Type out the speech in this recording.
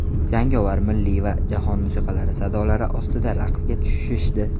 Jangovar, milliy va jahon musiqalari sadolari ostiga raqsga tushishdi.